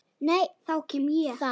Þá kem ég